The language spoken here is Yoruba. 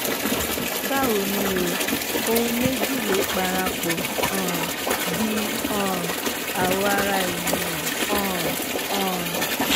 báwo ni o? ohun méjì ló parapọ̀ um di um àwọ̀ ara ènìyàn um um